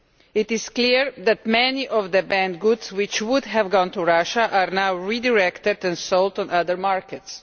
It is clear that many of the banned goods which would have gone to Russia are now redirected and sold on other markets.